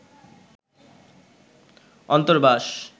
অন্তর্বাস